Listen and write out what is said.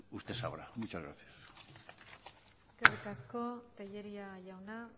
pues usted sabrá muchas gracias eskerrik asko tellería jauna